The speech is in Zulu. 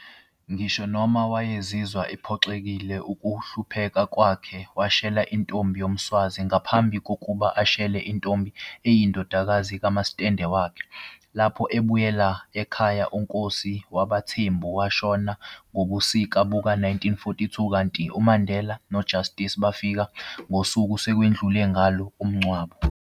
Ngisho noma wayezizwa ephoxekile ukuhlupheka kwakhe, washela intombi yomSwazi, ngaphambi kokuba ashele intombi eyayiyindodakazi kamasitende wakhe. Lapho ebuyela ekhaya uNkosi wabaThembu washona ngobusika buka-1942, kanti uMandela noJustice bafika ngosuku sekwedlule ngalo umngcwabo.